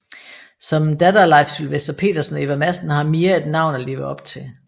Som datter af Leif Sylvester Petersen og Eva Madsen har Mia et navn at leve op til